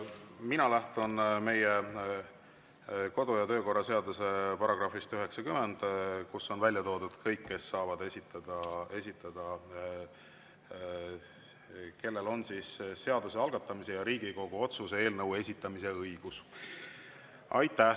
Mina lähtun meie kodu- ja töökorra seaduse §-st 90, kus on välja toodud kõik, kellel on seaduse algatamise ja Riigikogu otsuse eelnõu esitamise õigus.